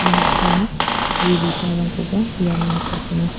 unbaksana gue bipangrangkoba iano nikatenga.